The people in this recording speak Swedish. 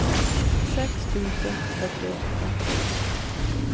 sex tusen fyrtioåtta